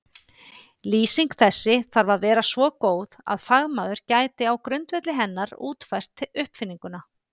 Lýsing þessi þarf að vera svo góð að fagmaður gæti á grundvelli hennar útfært uppfinninguna.